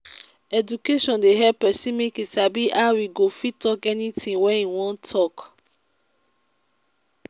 education dey help pesin make e sabi how e go fit talk anything wey e wan talk